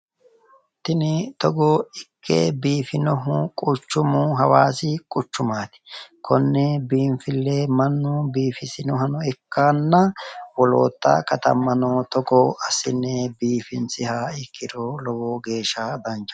Tini togo ikke biifinohu quchchumu hawaasi quchchumaati konne biinfille mannu biifisinohano ikkanna woloota katammano togo assine biifinsiha ikkiro lowo geeshsha danchaho